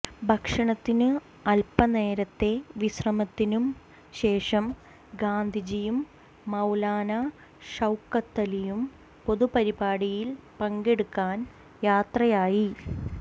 ഭക്ഷണത്തിനും അൽപനേരത്തെ വിശ്രമത്തിനും ശേഷം ഗാന്ധിജിയും മൌലാന ഷൌക്കത്തലിയും പൊതുപരിപാടിയിൽ പങ്കെടുക്കാൻ യാത്രയായി